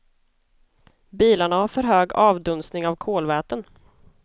Bilarna har för hög avdunstning av kolväten.